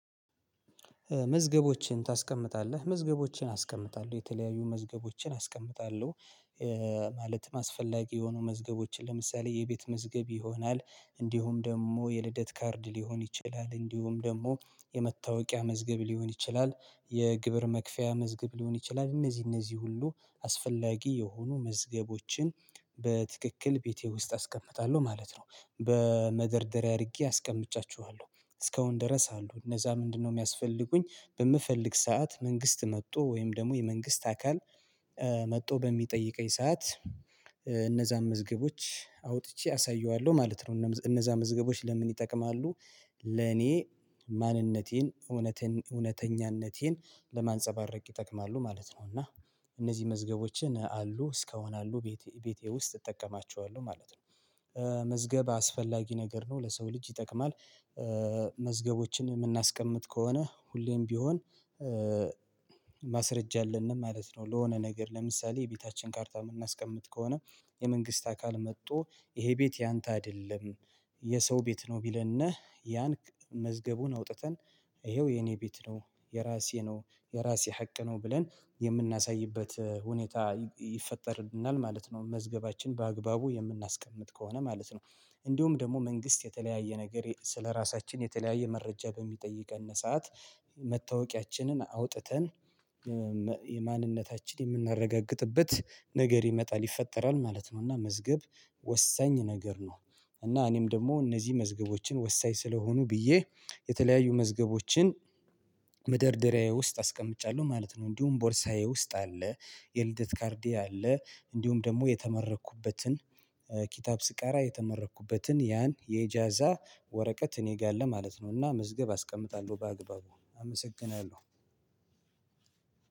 መዝገቦችን ታስቀምጣለህ መዝገቦችን አስቀምጣለሁ የተለያዩ መዝገቦችን አስቀምጣለሁ። ማለትም አስፈላጊ የሆኑ መዝገቦችን ለምሳሌ የቤት መዝገብ ይሆናል እንዲሁም ደግሞ የልደት ካርድ ሊሆን ይችላል እንዲሁም ደግሞ የመታወቂያ መዝገብ ሊሆን ይችላል የግብር መክፈያ መዝገብ ሊሆን ይችላል እነዚህ እነዚህ ሁሉ አስፈላጊ የሆኑ መዝገቦችን በትክክል ቤቴ ውስጥ አስቀምጣለሁ ማለት ነው በመደርደሪያ አድርጌ አስቀምጫችኋለሁ እስከአሁን ደረሳለሁ እነዛ ምንድነው? የሚያስፈልጉኝ በምፈልግ ሰዓት መንግስት መጥቶ ወይም ደግሞ የመንግስት አካል መጥቶ በሚጠይቀኝ ሰዓት እነዛን መዝገቦች አውጥቼ አሳየዋለሁ ማለት ነው። እነዛ መዝገቦች ለምን ይጠቅማሉ? ለኔ ማንነቴን እውነትን እውነተኛነቴን ለማንፀባረቅ ይጠቅማሉ ማለት ነው። እና እነዚህ መዝገቦችን አሉ እስከሆነ አሉ ቤቴ ውስጥ እጠቀማቸዋለሁ ማለት ነው። መዝገብ አስፈላጊ ነገር ነው ለሰው ልጅ ይጠቅማል። መዝገቦችን የምናስቀምጥ ከሆነ ሁሌም ቢሆን ማስረጃ አለንም ማለት ነው። ለሆነ ነገር ለምሳሌ የቤታችን ካርታ የምናስቀምጥ ከሆነ የመንግስት አካል መጥቶ ይሄ ቤት ያንተ አይደለም። የሰው ቤት ነው ቢለን ነህ ያን መዝገቡን አውጥተን ይኸው የኔ ቤት ነው የራሴ ነው የራሴ ሀቅ ነው ብለን የምናሳይበት ሁኔታ ይፈጠርናል ማለት ነው። መዝገባችን በአግባቡ የምናስቀምጥ ከሆነ ማለት ነው። እንደውም ደግሞ መንግስት የተለያየ ነገር ስለራሳችን የተለያየ መረጃ በሚጠይቀን ሰዓት መታወቂያችንን አውጥተን ማንነታችን የምናረጋግጥበት ነገር ይመጣል ይፈጠራል ማለት ነው። እና መዝገብ ወሳኝ ነገር ነው። እና እኔም ደግሞ እነዚህ መዝገቦችን ወሳኝ ስለሆኑ ብዬ የተለያዩ መዝገቦችን መደርደሪያዬ ውስጥ አስቀምጫለሁ ማለት ነው። እንዲሁም ቦርሳዬ ውስጥ አለ የልደት ካርዴ አለ እንዲሁም ደግሞ የተመረኩበትን ኪታብ ስቃራ የተመረኩበትን ያን የጃዛ ወረቀት እኔ ጋር አለ ማለት ነው። እና መዝገብ አስቀምጣለሁ በአግባቡ አመሰግናለሁ።